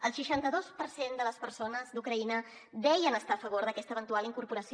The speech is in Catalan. el seixanta dos per cent de les persones d’ucraïna deien estar a favor d’aquesta eventual incorporació